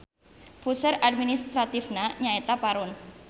Puseur administratifna nyaeta Parun.